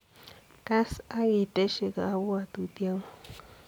Kass agoitesiy ngobwututie nguug.